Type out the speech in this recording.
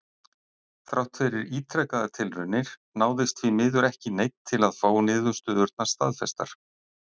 Þrátt fyrir ítrekaðar tilraunir náðist því miður ekki í neinn til að fá niðurstöðurnar staðfestar.